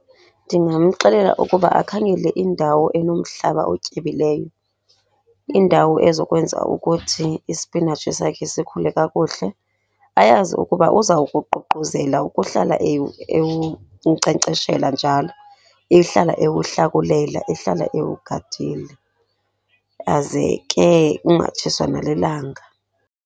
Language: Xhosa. Ndingamxelela ukuba akhangele indawo enomhlaba otyebileyo. Indawo ezokwenza ukuthi isipinatshi sakhe sikhule kakuhle. Ayazi ukuba uzawukuququzela ukuhlala ewunkcenkceshela njalo, ehlala ewuhlakulela, ehlala ewugadile aze ke ungatshiswa nalilanga.